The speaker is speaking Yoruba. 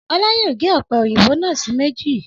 Ọlá yóò ga ọ̀pẹ̀-òyìnbò náà sí méjì.